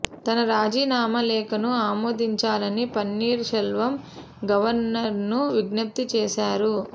తన రాజీనామా లేఖను ఆమోదించాలని పన్నీర్ సెల్వం గవర్నర్ను విజ్ఞప్తి చేశారు